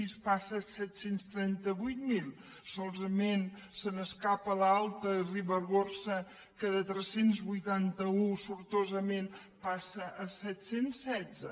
zero passa a set cents i trenta vuit mil solament se n’escapa l’alta ribagorça que de tres cents i vuitanta un sortosament passa a set cents i setze